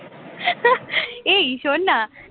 এই শোন না